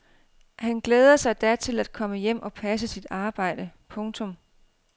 Han glæder sig da til komme hjem og passe sit arbejde. punktum